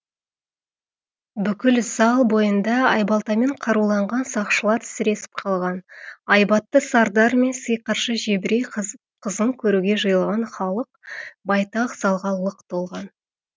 бүкіл зал бойында айбалтамен қаруланған сақшылар сіресіп қалған айбатты сардар мен сиқыршы жебірей қызын көруге жиылған халық байтақ залға лық толған